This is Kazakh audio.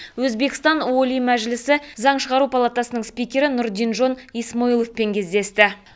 өзбекстан олий мәжілісі заң шығару палатасының спикері нурдинжон исмоиловпен кездесті